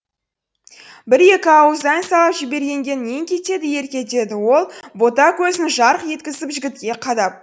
бір екі ауыз ән салып жібергенге нең кетеді ерке деді ол бота көзін жарқ еткізіп жігітке қадап